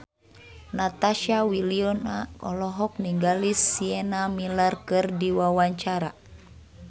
Natasha Wilona olohok ningali Sienna Miller keur diwawancara